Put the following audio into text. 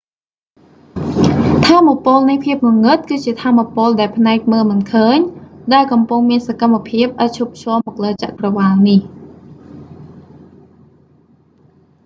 ថាមពលនៃភាពងងឹតគឺជាថាមពលដែលភ្នែកមើលមិនឃើញ ដែលកំពុងមានសកម្មភាពឥតឈប់ឈរមកលើចក្រវាឡនេះ